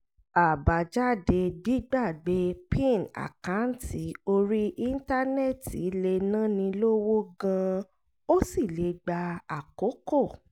àbájáde gbígbàgbé pin àkáǹtì orí íńtánẹ́ẹ̀tì lè náni lówó gan-an ó sì lè gba àkókò